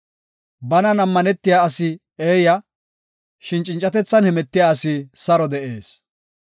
Banan ammanetiya asi eeya; shin cincatethan hemetiya asi saro de7ees.